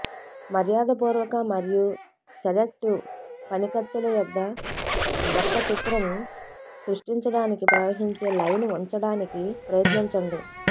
మర్యాదపూర్వక మరియు సెడక్టివ్ పనికత్తెలయొద్ద యొక్క చిత్రం సృష్టించడానికి ప్రవహించే లైన్ ఉంచడానికి ప్రయత్నించండి